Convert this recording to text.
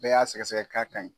Bɛɛ y'a sɛgɛsɛgɛ k'a ka ɲi.